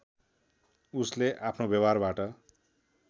उसले अफ्नो व्यवहारबाट